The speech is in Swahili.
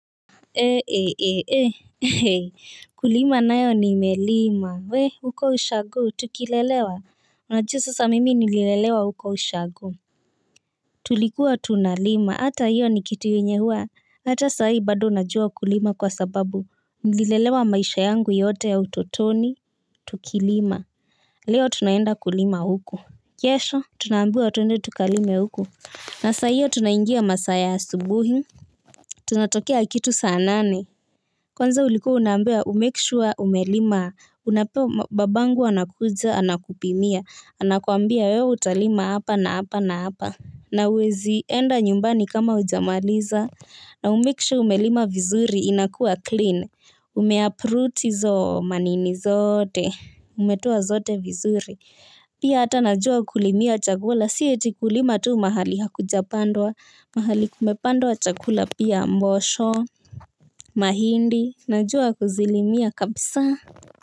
Ee ee ee hei kulima nayo nimelima we huko ushago tukilelewa mwajua sasa mimi nililelewa huko ushago tulikuwa tunalima hata hiyo ni kitu yenye hua hata sahii bado najua kulima kwa sababu nililelewa maisha yangu yote ya utotoni tukilima leo tunaenda kulima huko kesho tunaambiwa twende tukalime huku na saa hiyo tunaingia masaa ya asubuhi tunatokea kitu sanane. Kwanza uliku unaambiwa, umekishua umelima, baba angu anakuja anakupimia, anakuambia wewe utalima hapa na hapa na hapa, na huwezi enda nyumbani kama ujamaliza, na umekishuwa umelima vizuri inakua clean, umeapruti izo manini zote, umetoa zote vizuri. Pia ata najua kulimia chakula, si eti kulima tuu mahali hakujapandwa, mahali kumepandwa chakula pia mbosho, mahindi, najua kuzilimia kabisa.